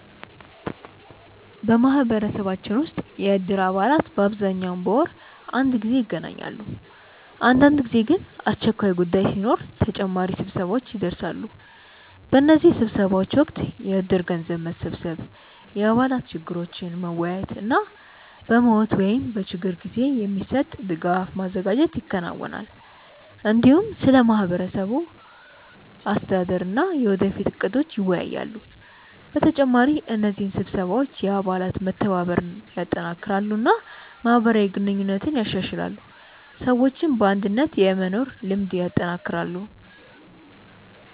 በማህበረሰባችን ውስጥ የእድር አባላት በአብዛኛው በወር አንድ ጊዜ ይገናኛሉ። አንዳንድ ጊዜ ግን አስቸኳይ ጉዳይ ሲኖር ተጨማሪ ስብሰባዎች ይደርሳሉ። በእነዚህ ስብሰባዎች ወቅት የእድር ገንዘብ መሰብሰብ፣ የአባላት ችግሮችን መወያየት እና በሞት ወይም በችግር ጊዜ የሚሰጥ ድጋፍ ማዘጋጀት ይከናወናል። እንዲሁም ስለ ማህበሩ አስተዳደር እና የወደፊት እቅዶች ይወያያሉ። በተጨማሪ እነዚህ ስብሰባዎች የአባላት መተባበርን ያጠናክራሉ እና ማህበራዊ ግንኙነትን ያሻሽላሉ፣ ሰዎችም በአንድነት የመኖር ልምድ ያጠናክራሉ።